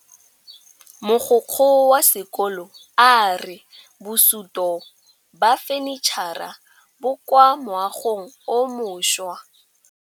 Mogokgo wa sekolo a re bosutô ba fanitšhara bo kwa moagong o mošwa.